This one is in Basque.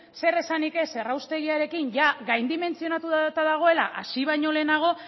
zer esanik ez erraustegiarekin ia gaindimentsionatuta dagoela hasi baino lehenago